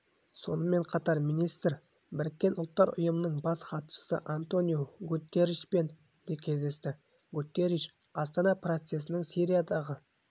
сонымен қатар министр біріккен ұлттар ұйымының бас хатшысы антониу гутерришпен де кездесті гутерриш астана процесінің сириядағы